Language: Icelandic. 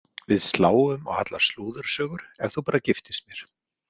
Við sláum á allar slúðursögur ef þú bara giftist mér.